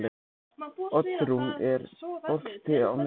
Oddrún, er bolti á miðvikudaginn?